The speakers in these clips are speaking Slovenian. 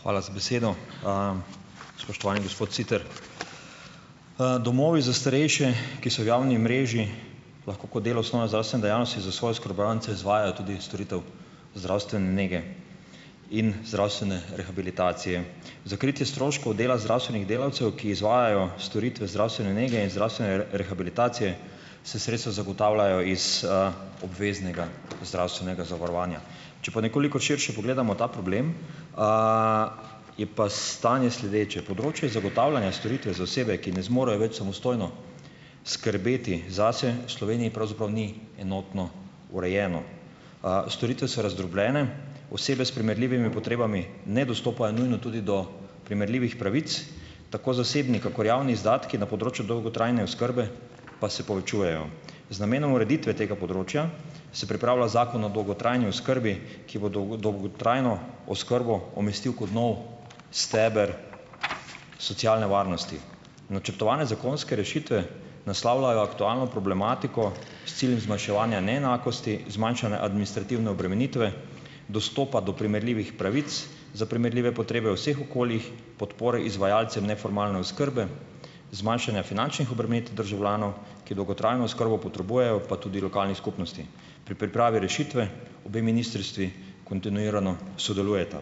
Hvala za besedo. Spoštovani gospod Siter! Domovi za starejše, ki so v javni mreži, lahko kot delo osnovne zdravstvene dejavnosti za svoje oskrbovance izvaja tudi storitev zdravstvene nege in zdravstvene rehabilitacije. Za kritje stroškov dela zdravstvenih delavcev, ki izvajajo storitve zdravstvene nege in zdravstvene rehabilitacije, se sredstva zagotavljajo iz, obveznega zdravstvenega zavarovanja. Če pa nekoliko širše pogledamo ta problem, je pa stanje sledeče. Področje zagotavljanja storitve za osebe, ki ne zmorejo več samostojno skrbeti zase, v Sloveniji pravzaprav ni enotno urejeno. Storitve so razdrobljene, osebe s primerljivimi potrebami ne dostopajo nujno tudi do primerljivih pravic, tako zasebni kakor javni izdatki na področju dolgotrajne oskrbe pa se povečujejo. Z namenom ureditve tega področja se pripravlja Zakon o dolgotrajni oskrbi, ki bo dolgotrajno oskrbo umestil kot nov steber socialne varnosti. Načrtovane zakonske rešitve naslavljajo aktualno problematiko s ciljem zmanjševanja neenakosti, zmanjšanja administrativne obremenitve, dostopa do primerljivih pravic za primerljive potrebe v vseh okoljih, podpore izvajalcem neformalne oskrbe, zmanjšanja finančnih obremenitev državljanov, ki dolgotrajno oskrbo potrebujejo, pa tudi lokalnih skupnosti. Pri pripravi rešitve obe ministrstvi kontinuirano sodelujeta.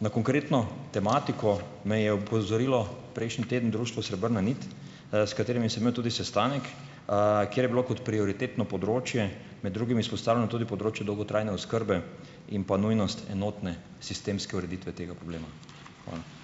Na konkretno tematiko me je opozorilo prejšnji teden Društvo Srebrna nit, s katerimi sem imel tudi sestanek, kjer je bilo kot prioritetno področje med drugimi izpostavljeno tudi področje dolgotrajne oskrbe in pa nujnost enotne sistemske ureditve tega problema. Hvala.